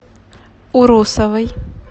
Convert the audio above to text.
урусовой